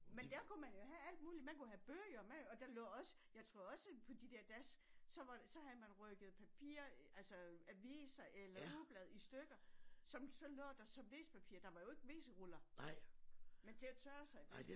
Men der kunne man jo have alt muligt man kunne have bøger med og der lå også jeg tror også på de der das så havde man rykket papir altså aviser eller ugeblade i stykker som så lå der som WC papir der var jo ikke WC ruller men til at tørre sig med